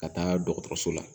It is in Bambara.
Ka taa dɔgɔtɔrɔso la